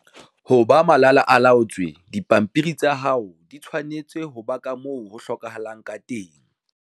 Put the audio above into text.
Ho ba malala-a-laotswe, dipampiri tsa hao di tshwanetse ho ba ka moo ho hlokahalang ka teng.